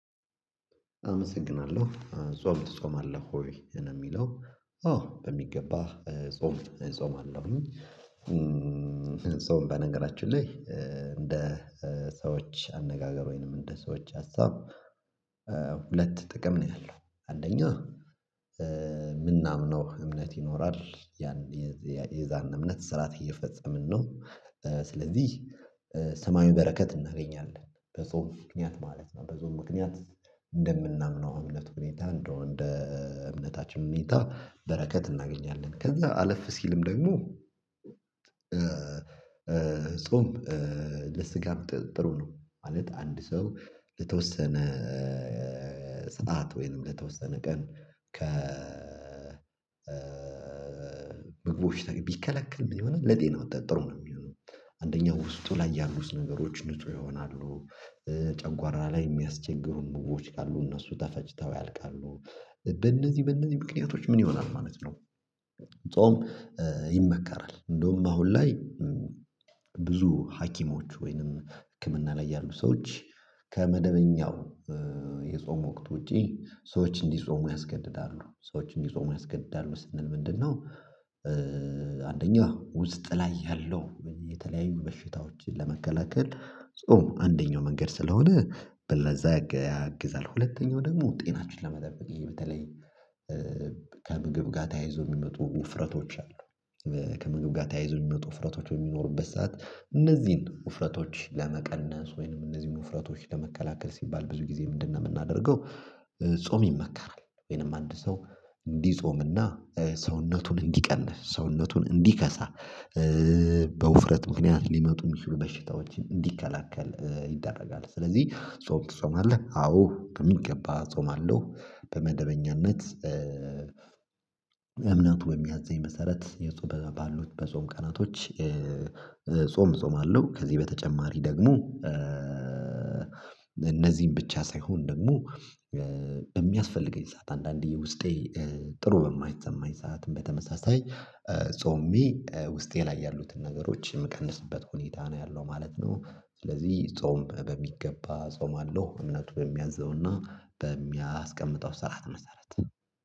አመሰግናለሁ። ጾም ትጾማለህ ወይ፤ ነው የሚለው። አዎ በሚገባ ጾም እጾማለሁኝ። ጾም በነገራችን ላይ እንደ ሰዎች አነጋገር ወይንም እንደ ሰዎች ሀሳብ ሁለት ጥቅም ነው ያለው። አንደኛው የምናምነው እምነት ይኖራል ያን የዛን እምነት ስርዓት እየፈጸምን ነው። ስለዚህ ሰማያዊ በረከት እናገኛለን። በጾም ምክንያት ማለት ነው። በጾም ምክንያት እንደምናምነው እምነት ሁኔታ እንደው እንደ እምነታችን ሁኔታ በረከት እናገኛለን። ከዛ አለፍ ሲልም ደግሞ ጾም ለስጋም ጥሩ ነው። ማለት አንድ ሰው ለተወሰነ ሰዓት ወይንም ለተወሰነ ቀን ከ ምግቦች ቢከለክልም የሆነ ለጤና ጥሩ ነው የሚሆነው። አንደኛው ውስጡ ላይ ያሉት ነገሮች ንጹ ይሆናሉ፤ ጨጓራ ላይ የሚያስቸግሩን ምግቦች ካሉ እነሱ ተፈጅተው ያልቃሉ። በእነዚህ በእነዚህ ምክንያቶች ምን ይሆናል ማለት ነው ጾም ይመከራል። እንደውም በአሁን ላይ ብዙ ሀኪሞች ወይንም ህክምና ላይ ያሉ ሰዎች ከመደበኛው የጾም ወቅት ውጪ ሰዎች እንዲጾሙ ያስገድዳሉ። ሰዎች እንዲጾሙ ጾም ያስገድዳሉ ስንል ምንድነው አንደኛው ውስጥ ላይ ያለው የተለያዩ በሽታዎችን ለመከላከል ጾም አንደኛው መንገድ ስለሆነ፤ በለዛ ያግዛል። ሁለተኛው ደግሞ ጤናችን ለመጠበቅ በተለይ ከምግብ ጋር ተያይዞ የሚመጡ ውፍረቶች አሉ ከምግብ ጋር ተያይዞ የሚመጡ ውፍረቶች በሚኖሩበት ሰዓት፤ እነዚህን ውፍረቶች ለመቀነስ ወይንም እነዚህን ውፍረቶች ለመከላከል ሲባል ብዙ ጊዜ ምንድነው የምናደርገው፤ ጾም ይመካራል። ወይንም አንድ ሰው እንዲጾምና ሰውነቱን እንዲቀንስ፣ ሰውነቱን እንዲከሳ በውፍረት ምክንያት ሊመጡ የሚችሉ በሽታዎችን እንዲከላከል ይደረጋል። ስለዚህ ጾም ትጾማለህ? አዎ ከሚገባ እጾማለሁ። በመደበኛነት እምነቱ በሚያዘኝ መሰረት የጾም ባሉች በጾም ቀናቶች ጾም እጾማለሁ። ከዚህ በተጨማሪ ደግሞ እነዚህን ብቻ ሳይሆን ደግሞ የሚያስፈልገኝ ሰዓት፤ አንዳንዴ ውስጤ ጥሩ በማይሰማኝ ሰዓትም በተመሳሳይ ጾሜ ውስጤ ላይ ያሉትን ነገሮች የምቀንስበት ሁኔታ ነው ያለው ማለት ነው። ስለዚህ ጾም በሚገባ ጾማለሁ እምነቱ በሚያዘውና በሚያስቀምጠው ሰዓት መሰረት